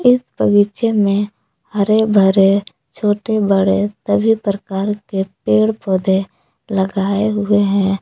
इस बगीचे में हरे भरे छोटे बड़े सभी प्रकार के पेड़ पौधे लगाए गए हैं।